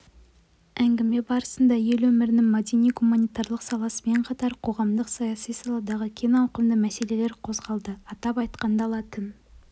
әңгіме барысында ел өмірінің мәдени-гуманитарлық саласымен қатар қоғамдық-саяси саладағы кең ауқымды мәселелер қозғалды атап айтқанда латын